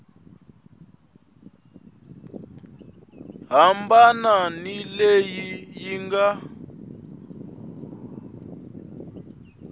hambana ni leyi yi nga